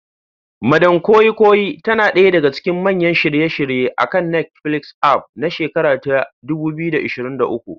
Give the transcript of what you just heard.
Madam Koi Koi tana ɗaya daga cikin manyan shirye-shiryen akan Netflix aff na shekara ta 2023.